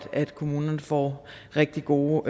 at kommunerne får rigtig gode